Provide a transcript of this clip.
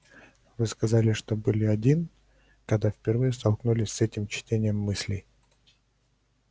вы сказали что были один когда впервые столкнулись с этим чтением мыслей